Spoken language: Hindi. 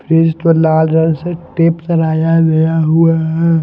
फ्रीज तो लाल रंग से टिप सराया गया हुआ है।